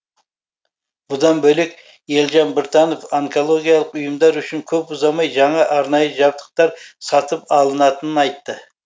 бұдан бөлек елжан біртанов онкологиялық ұйымдар үшін көп ұзамай жаңа арнайы жабдықтар сатып алынатынын айтты